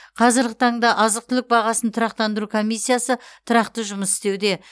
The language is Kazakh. қазіргі таңда азық түлік бағасын тұрақтандыру комиссиясы тұрақты жұмыс істеуде